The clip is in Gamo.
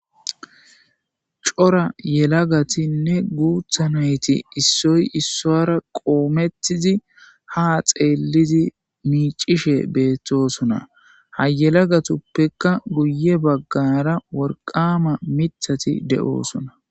Cora yelagatinne guuthanayti issoy issoara qoometizi ha xeellidi miicishe beettosona hayelagatuppekka guye baggara worqama mithati de7oosona.